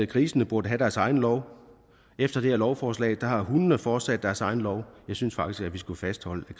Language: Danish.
grisene burde have deres egen lov efter det her lovforslag har hundene fortsat deres egen lov jeg synes faktisk vi skulle fastholde at